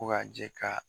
Ko ka jɛ ka